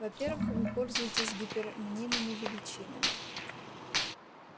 во-первых вы пользуетесь гипермнимыми величинами